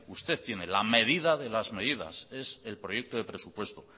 usted tiene la medida de las medidas es el proyecto de presupuesto